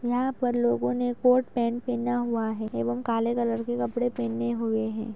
यहाँ पर लोगो ने कोट पेंट पहना हुआ है एवं काले कलर के कपड़े पहने हुए हैं ।